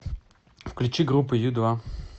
включи группу ю два